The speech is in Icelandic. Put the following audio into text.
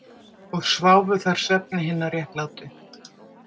Og sváfu þar svefni hinna réttlátu?